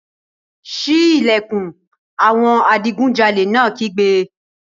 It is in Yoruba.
Sí ìlẹ̀kùn! Àwọn adigunjalè náà kígbe.